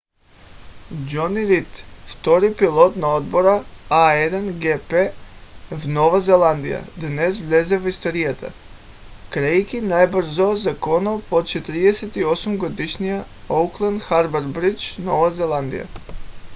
джони рийд втори пилот на отбора на a1gp в нова зеландия днес влезе в историята карайки най-бързо законно по 48 - годишния оукланд харбър бридж нова зеландия